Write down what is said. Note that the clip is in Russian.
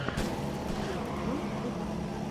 биоволквк